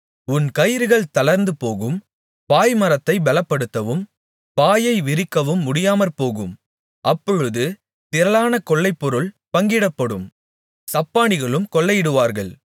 உன் கயிறுகள் தளர்ந்துபோகும் பாய்மரத்தைப் பலப்படுத்தவும் பாயை விரிக்கவும் முடியாமற்போகும் அப்பொழுது திரளான கொள்ளைப்பொருள் பங்கிடப்படும் சப்பாணிகளும் கொள்ளையிடுவார்கள்